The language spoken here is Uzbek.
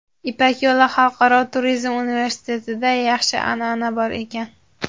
"Ipak yo‘li" Xalqaro turizm universitetida yaxshi an’ana bor ekan.